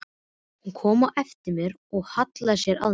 Hún kom á eftir mér og hallaði sér að mér.